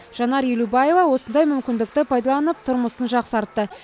жанар елубаева осындай мүмкіндікті пайдаланып тұрмысын жақсартты